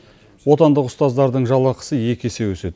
отандық ұстаздардың жалақысы екі есе өседі